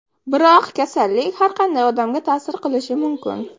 Biroq kasallik har qanday odamga ta’sir qilishi mumkin.